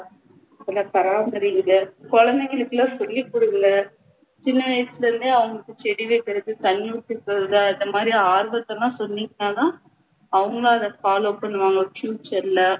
நல்லா பாராமறிங்க குழந்தைங்களுக்குலாம் சொல்லி கொடுங்க சின்ன வயசுல இருந்தே அவங்களுக்கு செடி வைக்குறது தண்ணி ஊத்த சொல்றது அந்தமாதிரி சொன்னீங்கன்னா தான் அவங்க அதை follow பண்ணுவாங்க future ல